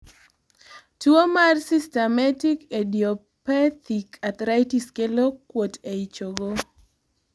tuo mar systemic idiopathic arthritis kelo kuot ei chogo